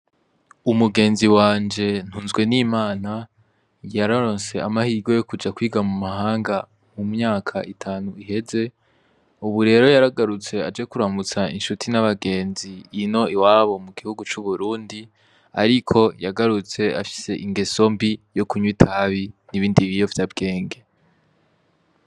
Umugenzi wanje ntunzwe n'imana yarorose amahige yo kuja kwiga mu mahanga mu myaka itanu iheze, ubu rero yaragarutse aje kuramutsa insuti n'abagenzi ino iwabo mu gihugu c'uburundi, ariko yagarutse afise ingeso mbi yo kunywa itabi n'ibindibi yovye abwenge.